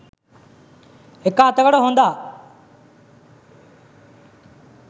එක අතකට හොඳා.